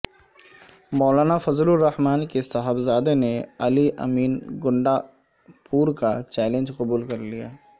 مولانا فضل الرحمان کے صاحبزادے نے علی امین گنڈا پور کا چیلنج قبول کرلیا